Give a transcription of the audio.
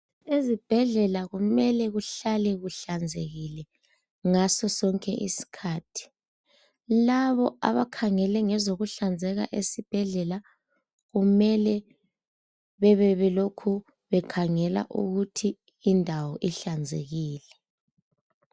Ezibhedlela kumele kuhlale kuhlanzekile ngasosonke isikhathi labo abakhangele ngezokuhlanzeka ezibhedlela kumele bebe belokhu bekhangela ukuthi indawo ihlanzekile.